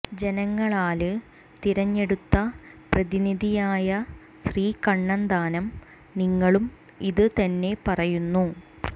ജനങ്ങളാല് തിരഞ്ഞെടുത്ത പ്രതിനിധിയായ ശ്രീ കണ്ണന്താനം നിങ്ങളും ഇത് തന്നെ പറയുന്നു